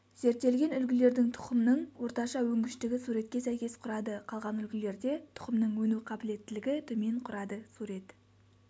зерттелген үлгілердің тұқымның орташа өнгіштігі суретке сәйкес құрады қалған үлгілерде тұқымның өну қабілеттілігі төмен құрады сурет